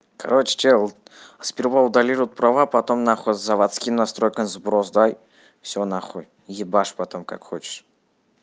короче чел сперва удали роот права потом нахуй заводским настройкам сброс дай все нахуй ебаш потом как хочешь